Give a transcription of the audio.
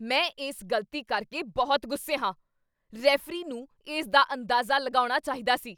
ਮੈਂ ਇਸ ਗ਼ਲਤੀ ਕਰਕੇ ਬਹੁਤ ਗੁੱਸੇ ਹਾਂ! ਰੈਫਰੀ ਨੂੰ ਇਸ ਦਾ ਅੰਦਾਜ਼ਾ ਲਗਾਉਣਾ ਚਾਹੀਦਾ ਸੀ।